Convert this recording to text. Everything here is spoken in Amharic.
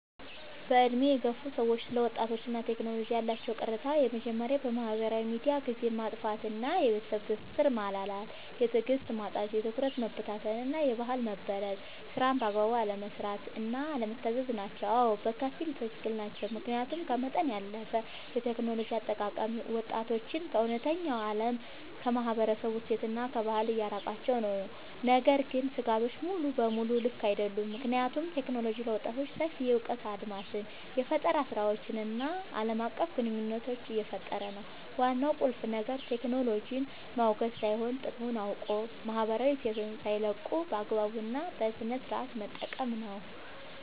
በዕድሜ የገፉ ሰዎች ስለ ወጣቶችና ቴክኖሎጂ ያላቸው ቅሬታዎች የመጀመርያው በማህበራዊ ሚዲያ ጊዜን ማጥፋት እና የቤተሰብ ትስስር መላላት። የትዕግስት ማጣት፣ የትኩረት መበታተን እና የባህል መበረዝ። ስራን በአግባቡ አለመስራት እና አለመታዘዝ ናቸው። አዎ፣ በከፊል ትክክል ናቸው። ምክንያቱም ከመጠን ያለፈ የቴክኖሎጂ አጠቃቀም ወጣቶችን ከእውነተኛው ዓለም፣ ከማህበረሰብ እሴትና ከባህል እያራቃቸው ነው። ነገር ግን ስጋቶቹ ሙሉ በሙሉ ልክ አይደሉም፤ ምክንያቱም ቴክኖሎጂ ለወጣቶች ሰፊ የእውቀት አድማስን፣ የፈጠራ ስራዎችን እና ዓለም አቀፍ ግንኙነት እየፈጠረ ነው። ዋናው ቁልፍ ነገር ቴክኖሎጂን ማውገዝ ሳይሆን፣ ጥቅሙን አውቆ ማህበራዊ እሴትን ሳይለቁ በአግባቡ እና በስነሥርዓት መጠቀም ነው።